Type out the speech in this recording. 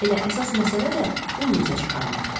Elə əsas məsələ də bunu üzə çıxarmaqdır.